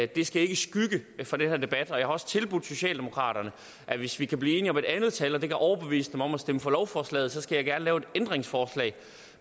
det skal ikke skygge for den her debat og jeg har også tilbudt socialdemokratiet at hvis vi kan blive enige om et andet tal og det kan overbevise dem om at stemme for lovforslaget så skal jeg gerne lave et ændringsforslag